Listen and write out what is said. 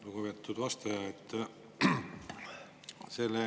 Lugupeetud vastaja!